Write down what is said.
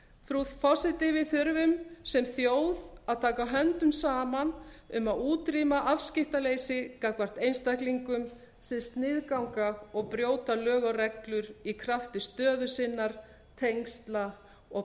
frú forseti við þurfum sem þjóð að taka höndum saman um að útrýma afskiptaleysi gagnvart einstaklingum sem sniðganga og brjóta lög og reglur í krafti stöðu sinnar tengsla og